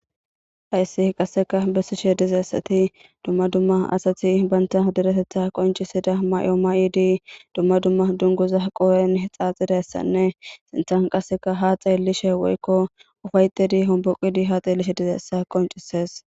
hayssi qasseka bessishe dizeessati dumma dumma asati baynta deretetha qoncisida may7o may7idii dumma dumma dunguza qoohen xaaxidayssanne sinthan qasseka haa xeelishe woykko ufaytedi homboqidi haa xeelishe dizeessa qoncises